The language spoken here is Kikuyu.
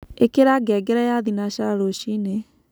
ĩkĩra ngengere ya thĩnacara rũcĩĩnĩ